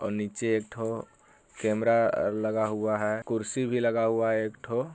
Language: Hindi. और नीचे एक ठो कैमरा लगा हुआ है कुर्सी भी लगा हुआ है एक ठो।